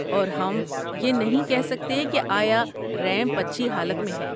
اور ہم یہ نہیں کہہ سکتے کہ آیا ریمپ اچھی حالت میں ہے۔